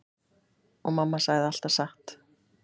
Og mamma sagði alltaf satt.